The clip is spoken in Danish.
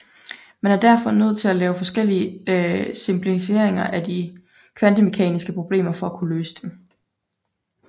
Man er derfor nødt til at lave forskellige simplificeringer af de kvantemekaniske problemer for at kunne løse dem